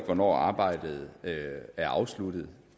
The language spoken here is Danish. hvornår arbejdet er afsluttet